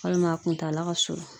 Walima a kuntala ka surun.